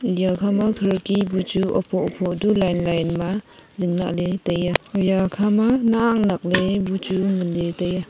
iya kha ma khirki bu chu hupho hupho du line ma zinglah le tai a iya kha ma nak nak le bu chu ngan ley tai a.